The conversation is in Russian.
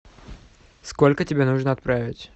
сколько тебе нужно отправить